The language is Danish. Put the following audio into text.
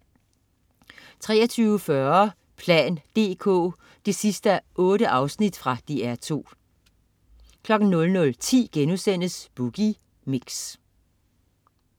23.40 plan dk 8:8. Fra DR2 00.10 Boogie Mix*